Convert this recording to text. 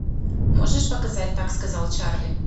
можешь показать так сказал чарли